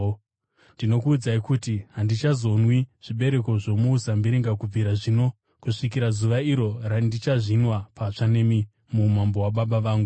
Ndinokuudzai kuti, handichazonwi zvibereko zvomuzambiringa kubvira zvino kusvikira zuva iro randichazvinwa patsva nemi muumambo hwaBaba vangu.”